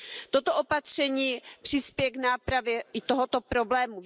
Toto opatření přispěje k nápravě i tohoto problému.